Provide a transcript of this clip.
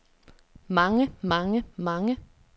mange mange mange